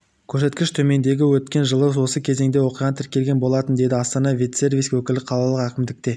көрсеткіш төмендеген өткен жылы осы кезеңде оқиға тіркелген болатын деді астана ветсервис өкілі қалалық әкімдікте